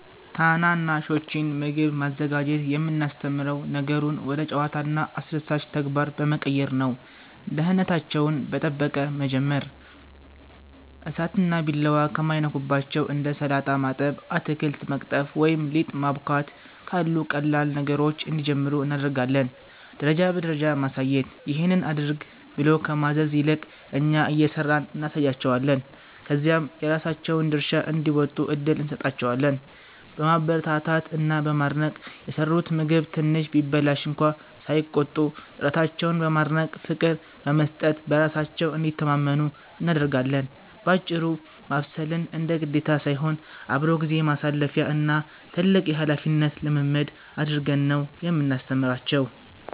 ታናናሾችን ምግብ ማዘጋጀት የምናስተምረው ነገሩን ወደ ጨዋታና አስደሳች ተግባር በመቀየር ነው፦ ደህንነታቸውን በመጠበቅ መጀመር፦ እሳትና ቢላዋ ከማይነኩባቸው እንደ ሰላጣ ማጠብ፣ አትክልት መቅጠፍ ወይም ሊጥ ማቦካት ካሉ ቀላል ነገሮች እንዲጀምሩ እናደርጋለን። ደረጃ በደረጃ ማሳየት፦ "ይሄን አድርግ" ብሎ ከማዘዝ ይልቅ፣ እኛ እየሰራን እናሳያቸዋለን፤ ከዚያም የራሳቸውን ድርሻ እንዲወጡ እድል እንሰጣቸዋለን። በማበረታታት እና በማድነቅ፦ የሰሩት ምግብ ትንሽ ቢበላሽ እንኳ ሳይቆጡ፣ ጥረታቸውን በማድነቅና ፍቅር በመስጠት በራሳቸው እንዲተማመኑ እናደርጋለን። ባጭሩ፤ ማብሰልን እንደ ግዴታ ሳይሆን፣ አብሮ ጊዜ ማሳለፊያ እና ትልቅ የኃላፊነት ልምምድ አድርገን ነው የምናስተምራቸው።